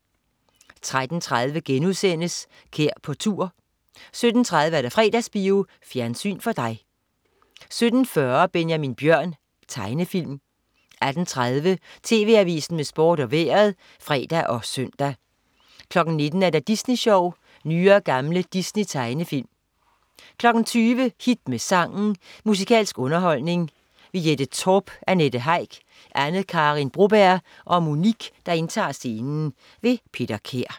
13.30 Kær på tur* 17.30 Fredagsbio. Fjernsyn for dig 17.40 Benjamin Bjørn. Tegnefilm 18.30 TV Avisen med Sport og Vejret (fre og søn) 19.00 Disney Sjov. Nye og gamle Disney-tegnefilm 20.00 Hit med sangen. Musikalsk quiz-underholdning. Jette Torp, Annette Heick, Anne Karin Broberg og Monique indtager scenen. Peter Kær